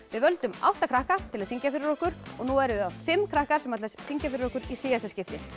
við völdum átta krakka til að syngja fyrir okkur og nú verða það fimm krakkar sem ætla að syngja fyrir okkur í síðasta skipti